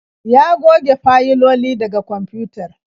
Ya goge fayiloli daga kwamfutar